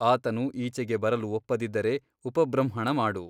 ಆತನು ಈಚೆಗೆ ಬರಲು ಒಪ್ಪದಿದ್ದರೆ ಉಪಬೃಂಹಣಮಾಡು.